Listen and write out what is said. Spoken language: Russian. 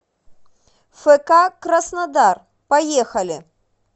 фк краснодар поехали